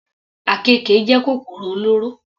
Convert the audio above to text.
Àkekè jẹ́ kòkòrò olóró.